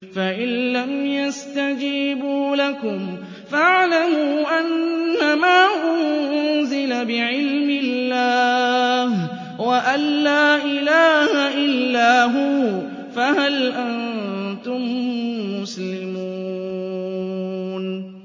فَإِلَّمْ يَسْتَجِيبُوا لَكُمْ فَاعْلَمُوا أَنَّمَا أُنزِلَ بِعِلْمِ اللَّهِ وَأَن لَّا إِلَٰهَ إِلَّا هُوَ ۖ فَهَلْ أَنتُم مُّسْلِمُونَ